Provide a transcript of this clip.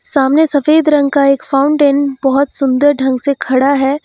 सामने सफेद रंग का एक फाउंटेन बहुत सुंदर ढंग से खड़ा है।